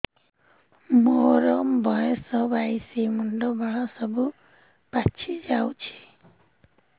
ମୋର ବୟସ ବାଇଶି ମୁଣ୍ଡ ବାଳ ସବୁ ପାଛି ଯାଉଛି